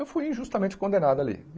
Eu fui injustamente condenado ali.